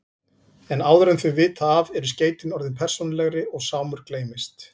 En áður en þau vita af eru skeytin orðin persónulegri og Sámur gleymist.